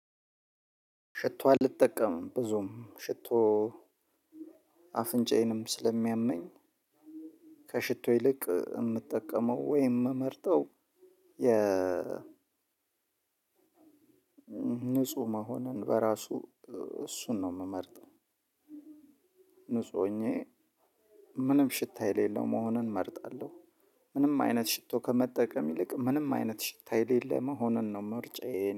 ከቶ አልጠቀምም በዙም ሽቶ አፍንጫዬንም ስለሚያመኝ ከሽቶ ይልቅ እምጠቀመው ወይም እምመርጠው የ ንጹህ መሆንን በራሱ እሱን ነው የምመርጠው። ንጹህ ሆኜ ምንም ሽታ የሌለው መሆንን እመርጣለሁ። ምንም አይነት ሽቶ ከመጠቀም ይልቅ ምንም አይነት ሽታ የሌለ መሆኑን ነው ምርጫዬ የእኔ